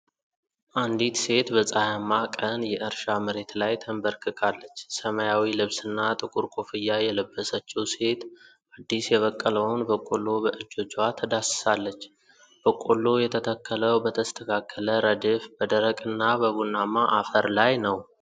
አንዲት ሴት በፀሐያማ ቀን የእርሻ መሬት ላይ ተንበርክካለች። ሰማያዊ ልብስና ጥቁር ኮፍያ የለበሰችው ሴት አዲስ የበቀለውን በቆሎ በእጆቿ ትዳስሳለች። በቆሎው የተተከለው በተስተካከለ ረድፍ በደረቅና በቡናማ አፈር ላይ ነው።